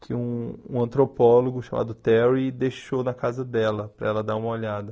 que um antropólogo chamado Terry deixou na casa dela, para ela dar uma olhada.